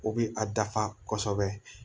O bɛ a dafa kosɛbɛ